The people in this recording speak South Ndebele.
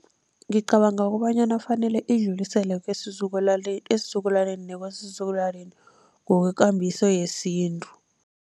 Ngicabanga kobanyana fanele idluliselwe esizukulwaneni nekwesizukulwaneni ngokwekambiso yesintu.